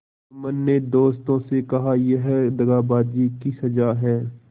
जुम्मन ने दोस्तों से कहायह दगाबाजी की सजा है